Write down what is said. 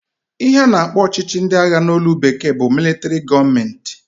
Ihe a na-akpọ ọchịchị ndị agha n'olu bekee bụ militari gọọment.